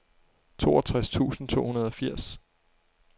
toogtres tusind to hundrede og firs